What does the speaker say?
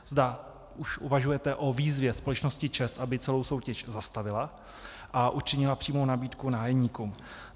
Zda už uvažujete o výzvě společnosti ČEZ, aby celou soutěž zastavila a učinila přímou nabídku nájemníkům.